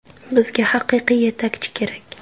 Bizga haqiqiy yetakchi kerak.